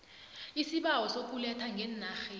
isibawo sokuletha ngeenarheni